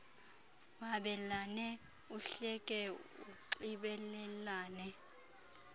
wabelane uhleke unxibelelane